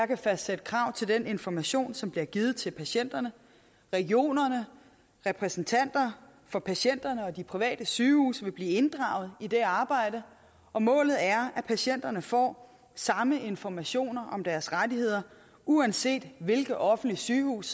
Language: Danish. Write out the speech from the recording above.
kan fastsætte krav til den information som bliver givet til patienterne regionerne repræsentanter for patienterne og de private sygehuse vil blive inddraget i det arbejde og målet er at patienterne får samme informationer om deres rettigheder uanset hvilket offentligt sygehus